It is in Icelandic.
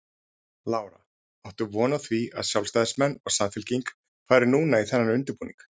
Lára: Áttu von á því að sjálfstæðismenn og Samfylking fari núna í þennan undirbúning?